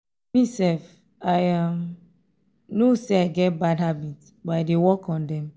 mesef i um know say i get bad habit but i dey work on them